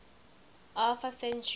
alpha centauri b